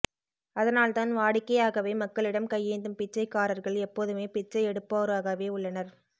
அதனால் தான் வாடிக்கையாகவே மக்களிடம் கையேந்தும் பிச்சைக்காரர்கள் எப்போதுமே பிச்சை எடுப்போராகவே உள்ளனர்